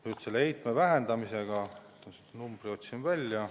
Nüüd, selle heitme vähendamise numbri ma otsisin välja.